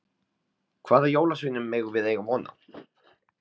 Hvaða jólasveinum megum við eiga von á?